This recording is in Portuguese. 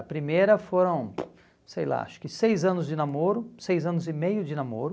A primeira foram, sei lá, acho que seis anos de namoro, seis anos e meio de namoro.